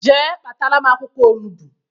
Jee kpataram akwukwo olugbu